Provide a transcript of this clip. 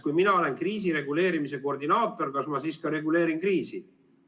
Kui mina olen kriisireguleerimise koordinaator, kas ma siis ka reguleerin kriisi?